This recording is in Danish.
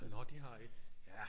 Nå det har I? Ja